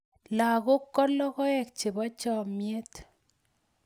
lagok ko logoek chebo chamiet